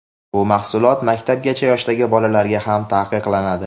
bu mahsulot maktabgacha yoshdagi bolalarga ham taqiqlanadi.